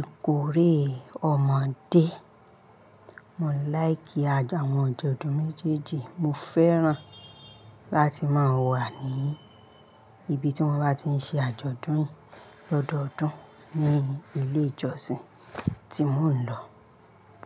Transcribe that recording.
ìkórè ọmọdé. Mò ń láìkì àwọn àjọ̀dún méjèèjì, mo fẹ́ràn láti máa wà ní ibi tí wọ́n bá ti ń ṣe àjọ̀dún lọ́dọọdún ní ilé ìjọsìn tí mò ń lọ.